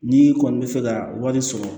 N'i kɔni bɛ fɛ ka wari sɔrɔ